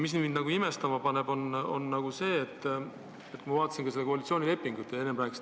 Mis mind veel imestama paneb, on see, et enne te rääkisite natukene maaelust ja eksisite järjekordselt.